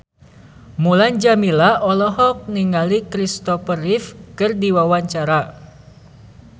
Mulan Jameela olohok ningali Christopher Reeve keur diwawancara